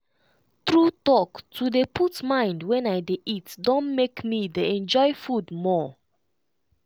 true talk to dey put mind wen i dey eat don make me dey enjoy food more.